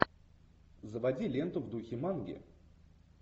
заводи ленту в духе манги